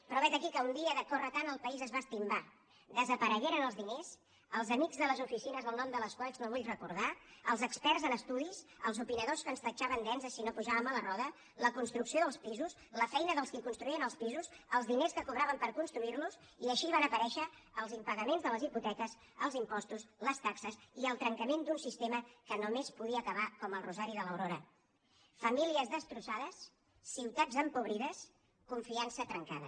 però vet aquí que un dia de córrer tant el país es va estimbar desaparegueren els diners els amics de les oficines el nom de les quals no vull recordar els experts en estudis els opinadors que ens tatxaven d’enzes si no pujàvem a la roda la construcció dels pisos la feina dels qui construïen el pisos els diners que cobraven per construirlos i així van aparèixer els impagaments de les hipoteques els impostos les taxes i el trencament d’un sistema que només podia acabar com el rosari de l’aurora famílies destrossades ciutats empobrides confiança trencada